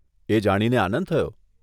એ જાણીને આનંદ થયો.